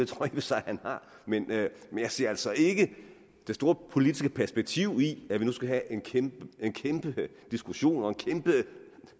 for sig han har men jeg ser altså ikke det store politiske perspektiv i at vi nu skal have en kæmpe diskussion og en kæmpe